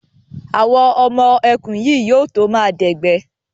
Àwọn ọmọ ẹkùn yìí yóò to máa dẹ̀gbẹ́.